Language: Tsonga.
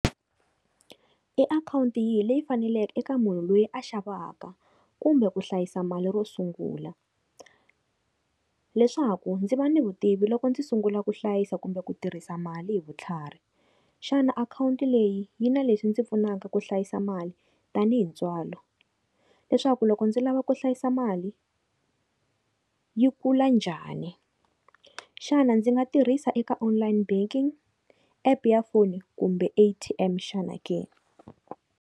I akhawunti yihi leyi faneleke eka munhu loyi a xavaka kumbe ku hlayisa mali ro sungula leswaku ndzi va ni vutivi loko ndzi sungula ku hlayisa kumbe ku tirhisa mali hi vutlhari. Xana akhawunti leyi yi na leswi ndzi pfunaka ku hlayisa mali tanihi ntswalo leswaku loko ndzi lava ku hlayisa mali yi kula njhani, xana ndzi nga tirhisa eka online banking, app ya foni kumbe A_T_M xana ke?